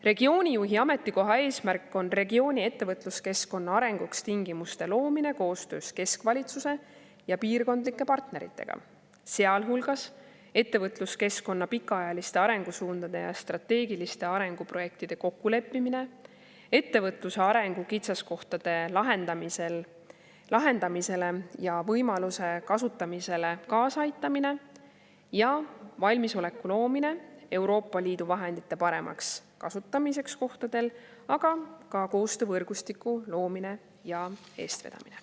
Regioonijuhi ametikoha eesmärk on regiooni ettevõtluskeskkonna arenguks tingimuste loomine koostöös keskvalitsuse ja piirkondlike partneritega, sealhulgas ettevõtluskeskkonna pikaajaliste arengusuundade ja strateegiliste arenguprojektide kokkuleppimine, ettevõtluse arengu kitsaskohtade lahendamisele ja võimaluste kasutamisele kaasaaitamine ja valmisoleku loomine Euroopa Liidu vahendite paremaks kasutamiseks kohtadel, aga ka koostöövõrgustiku loomine ja eestvedamine.